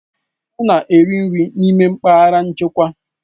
Ọ na-eri nri n'ime mpaghara nchekwa